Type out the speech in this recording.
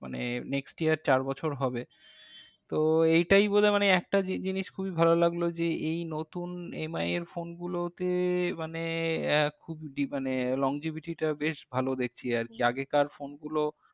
মানে next year চার বছর হবে। তো এইটাই বোধহয় মানে একটা জিনিস খুবই ভালো লাগলো যে এই নতুন MI এর phone গুলো তে মানে এক মানে longevity টা বেশ ভালো দেখছি আরকি। আগেকার phone গুলো